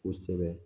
Kosɛbɛ